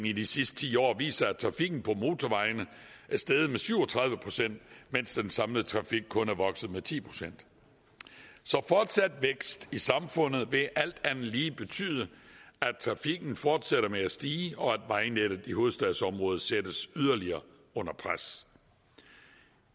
i de sidste ti år viser at trafikken på motorvejene er steget med syv og tredive pct mens den samlede trafik kun er vokset med ti procent så fortsat vækst i samfundet vil alt andet lige betyde at trafikken fortsætter med at stige og at vejnettet i hovedstadsområdet sættes yderligere under pres